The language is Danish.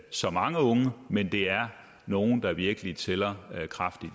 så mange unge men det er nogle der virkelig tæller kraftigt